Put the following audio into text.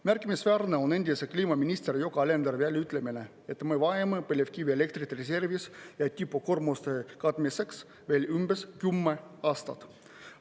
Märkimisväärne on endise kliimaministri Yoko Alenderi väljaütlemine, et me vajame põlevkivielektrit reservis tipukoormuste katmiseks veel umbes 10 aastat.